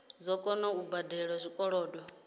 dzo kona u badela zwikolodo